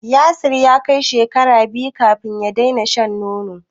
Yasir ya kai shekara biyu kafin ya daina shan nono.